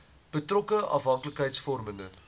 betrokke afhanklikheids vormende